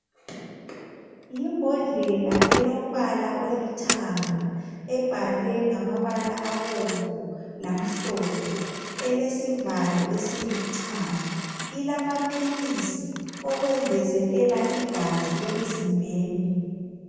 Yimbodlela elombala olithanga, ebhalwe ngamabala abomvu, lamhlophe. Elesivalo esilithanga. llamaphilisi okwengezelela igazi emzimbeni.